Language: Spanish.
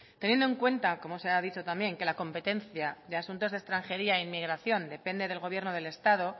teniendo en cuenta como se ha dicho también que la competencia de asuntos de extranjería e inmigración depende del gobierno del estado